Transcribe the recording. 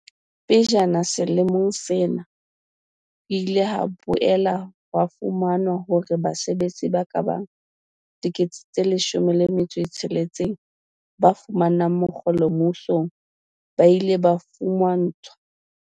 Pejana selemong sena, ho ile ha boela ho fumanwa hore basebetsi ba kabang 16 000 ba fumanang mokgolo mmusong ba ile ba fuma ntshwa